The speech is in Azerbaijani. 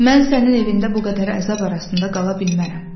Mən sənin evində bu qədər əzab arasında qala bilmərəm.